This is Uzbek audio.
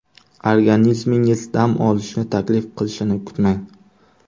Organizmingiz dam olishni taklif qilishini kutmang.